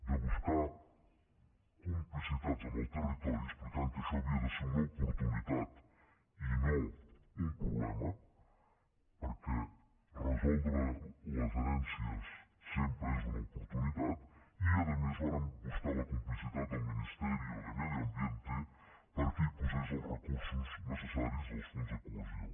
de buscar complicitats amb el territori explicant que això havia de ser una oportunitat i no un problema perquè resoldre les herències sempre és una oportunitat i a més vàrem buscar la complicitat del ministerio de medio ambiente perquè hi posés els recursos necessaris del fons de cohesió